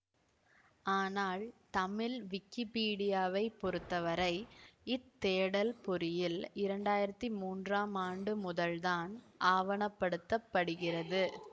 ஆனால் தமிழ் விக்கிப்பீடியாவைப் பொருத்தவரை இத் தேடல் பொறியில் இரண்டாயிரத்தி மூன்றாம் ஆண்டு முதல்தான் ஆவணப்படுத்தப்படுகிறது